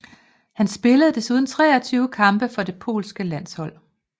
Han spillede desuden 23 kampe for det polske landshold